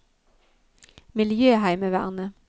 miljøheimevernet